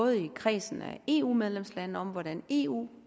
i kredsen af eu medlemslande om hvordan eu